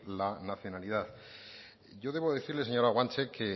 la nacionalidad yo debo decirle señora guanche que